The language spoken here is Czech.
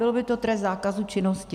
Byl by to trest zákazu činnosti.